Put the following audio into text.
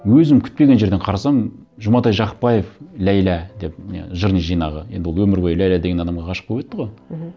өзім күтпеген жерден қарасам жұматай жақыпбаев ләйлә деп не жырының жинағы енді ол өмір бойы ләйлә деген адамға ғашық болып өтті ғой мхм